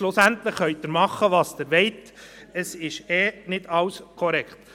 Schlussendlich können Sie machen was Sie wollen, es ist eh nicht alles korrekt.